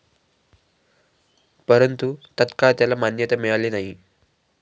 परंतु तत्काळ त्याला मान्यता मिळाली नाही.